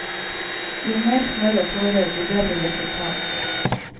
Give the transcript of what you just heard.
Jo mer snørr og tårer, jo bedre resultat.